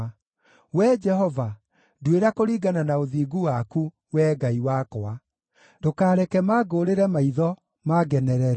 Wee Jehova, nduĩra kũringana na ũthingu waku, Wee Ngai wakwa; ndũkareke mangũũrĩre maitho, mangenerere.